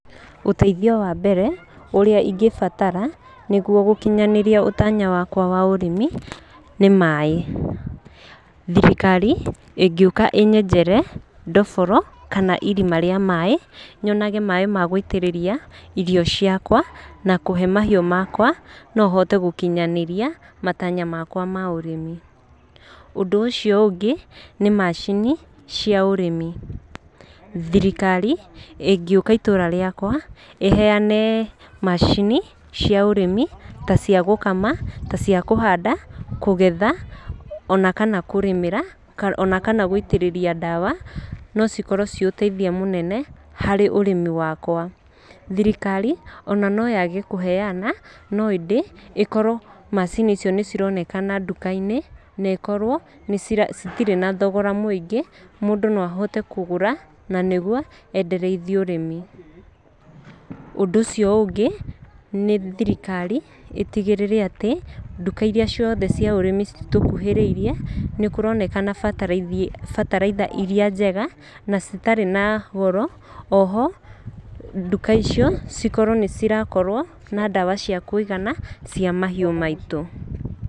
Ũteithio wa mbere ũrĩa ingĩbatara nĩguo gũkinyanĩria ũtanya wakwa wa ũrĩmi nĩ maĩ. Thirikari ĩngĩũka ĩĩ nyenjere ndoboro kana irima rĩa maĩ, nyonage maĩ ma gũitĩrĩria irio ciakwa na kũhe mahiũ makwa no hote gũkinyanĩria matanya makwa ma ũrĩmi. Ũndũ ũcio ũngĩ nĩ macini cĩa ũrĩmi. Thirikari ingĩũka itũũra rĩakwa ĩheane macini cia ũrĩmi ta cia gũkama, ta cia kũhanda, kũgetha ona kana kũrĩmĩra, ona kana gũitĩrĩria ndawa, no cikorwo ciĩ ũteithia mũnene harĩ ũrĩmi wakwa. Thirikari ona no yage kũheana no indĩ ĩkorwo macini icio nĩ cironekana nduka-inĩ na ĩkorwo citirĩ na thogora mũingĩ, mũndũ no ahote kũgũra na nĩguo endereithie ũrĩmi. Ũndũ ũcio ũngĩ nĩ thirikari ĩtigĩrĩre atĩ, nduka irĩa ciothe cia ũrĩmi itũkũhĩrĩirie nĩ kũroneka bataraitha irĩa njega na citarĩ na goro. O ho nduka icio cikorwo nĩ cirakorwo na ndawa cia kũigana cia mahiũ maitũ.